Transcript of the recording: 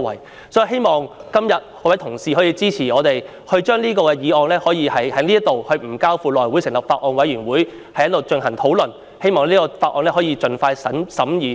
所以，我希望今天各位同事能夠支持我們，令《條例草案》可以無須交付內務委員會成立法案委員會，而是直接在此進行討論，從而令《條例草案》可以盡快審議。